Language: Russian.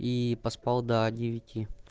и поспал до девяти